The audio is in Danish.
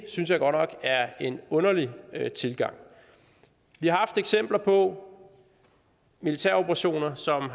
synes jeg godt nok er en underlig tilgang vi har haft eksempler på militære operationer som